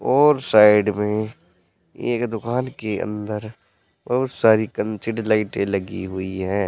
और साइड में एक दुकान के अंदर बहुत सारी कंचीड लाइटें लगी हुई हैं।